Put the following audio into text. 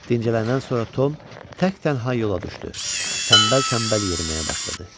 Dincələndən sonra Tom tək-tənha yola düşdü, tənbəl-tənbəl yeriməyə başladı.